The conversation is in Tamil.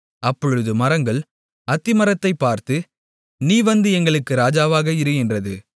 அப்பொழுது மரங்கள் அத்திமரத்தைப் பார்த்து நீ வந்து எங்களுக்கு ராஜாவாக இரு என்றது